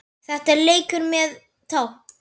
Þetta er leikur með tákn